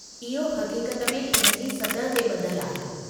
इहो हक़ीक़त में इन जी सतह ते ॿधलु आहे।